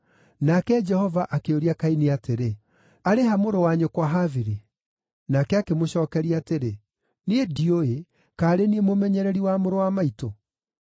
Nake Jehova akĩũria Kaini atĩrĩ, “Arĩ ha mũrũ-wa-nyũkwa Habili?” Nake akĩmũcookeria atĩrĩ, “Niĩ ndiũĩ, kaĩ arĩ niĩ mũmenyereri wa mũrũ-wa-maitũ?”